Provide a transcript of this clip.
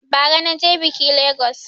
Ba ra na je biƙi Legas